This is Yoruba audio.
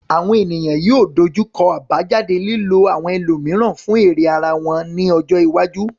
Àwọn ènìyàn yóò dojú kọ àbájáde lílo àwọn ẹlòmíràn fún èrè ara ẹni lọ́jọ́ iwájú.